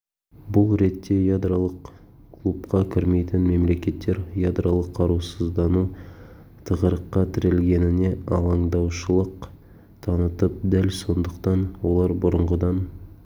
бұл ретте ядролық клубқа кірмейтін мемлекеттер ядролық қарусыздану тығырыққа тірелгеніне алаңдаушылық танытып дәл сондықтан олар бұрынғыдан